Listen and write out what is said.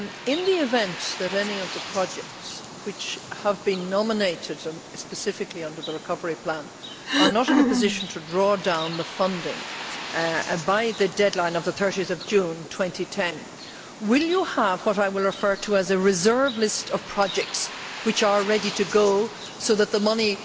In the event that any of the projects which have been nominated specifically under the Recovery Plan are not in a position to draw down the funding by the deadline of 30 June 2010, will you have what I will refer to as a reserve list of projects that are ready to go, so that the money